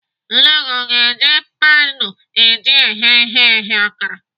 Nne gị o ga-eji panu eji eghe ihe eghe akara?